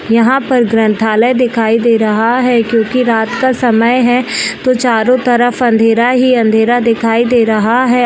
यहाँ पर ग्रंथालय दिखाई दे रहा है क्यूंकी रात का समय है तो चारों तरफ अंधेरा ही अंधेरा दिखाई दे रहा है।